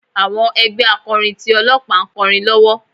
Àwọn ẹgbẹ́ akọrin ti Ọlọ́pàá ń kọrin lọ́wọ́.